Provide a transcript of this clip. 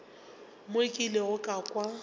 mo ke ilego ka kwa